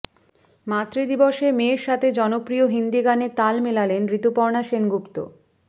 মাতৃদিবসে মেয়ের সাথে জনপ্রিয় হিন্দি গানে তাল মেলালেন ঋতুপর্ণা সেনগুপ্ত